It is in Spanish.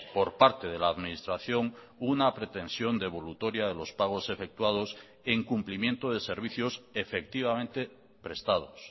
por parte de la administración una pretensión devolutoria de los pagos efectuados en cumplimiento de servicios efectivamente prestados